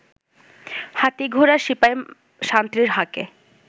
হাতী ঘোড়া সিপাই সান্ত্রীর হাঁকে